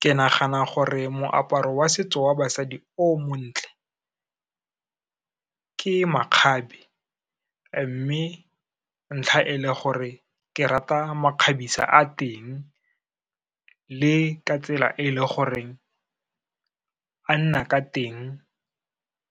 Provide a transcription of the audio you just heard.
Ke nagana gore moaparo wa setso wa basadi o montle ke makgabe, mme ntlha e le gore ke rata makgabisa a teng, le ka tsela e le goreng a nna ka teng